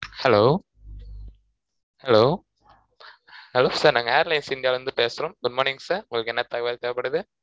hello hello hellosir நாங்க air lines india ல இருந்து பேசுறோம் good morning sir உங்களுக்கு என தகவல் தேவைப்படுது